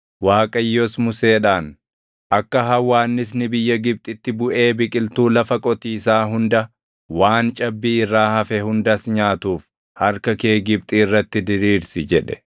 Waaqayyos Museedhaan, “Akka hawwaannisni biyya Gibxitti buʼee biqiltuu lafa qotiisaa hunda, waan cabbii irraa hafe hundas nyaatuuf harka kee Gibxi irratti diriirsi” jedhe.